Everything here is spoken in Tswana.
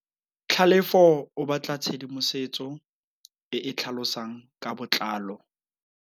Tlhalefô o batla tshedimosetsô e e tlhalosang ka botlalô.